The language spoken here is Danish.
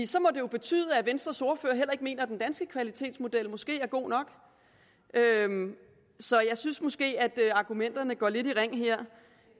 så må det jo betyde at venstres ordfører heller ikke mener at den danske kvalitetsmodel måske er god nok så jeg synes måske at argumenterne går lidt i ring her